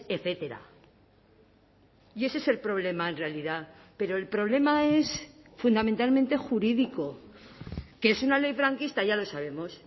etcétera y ese es el problema en realidad pero el problema es fundamentalmente jurídico que es una ley franquista ya lo sabemos